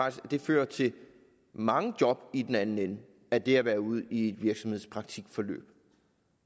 at det fører til mange job i den anden ende af det at være ude i et virksomhedspraktikforløb